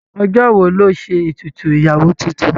Ọjọ́ wo lọ́ ṣe ètùtù ìyàwó tuntun?